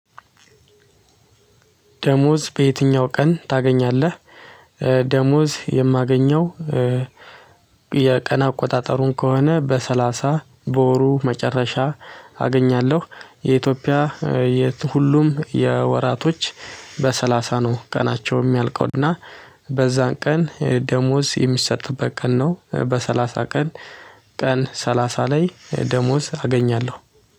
ደሞዝ በዬትኛው ቀን ታገኛለህ? ደሞዝ የማገኘው። የቀን አቆጣጠሩን ከሆነ በሰላሳ በወሩ መጨረሻ አገኛለሁ። የኢትዮጵያ የት? ሁሉም የወራት በሰላሳ ነው ቀናቸው የሚያልቀውና። እና በዛ ቀን ደሞዝ የሚሰጥበት ቀን ነው። በሰላሳ ቀን። ቀን ሰላሳ ላይ ደሞዝ አገኛለሁ።